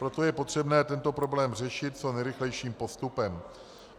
Proto je potřebné tento problém řešit co nejrychlejším postupem.